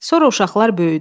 Sonra uşaqlar böyüdü.